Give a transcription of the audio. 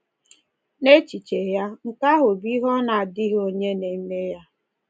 N’echiche ya, nke ahụ bụ ihe “ọ na-adịghị onye na-eme ya.”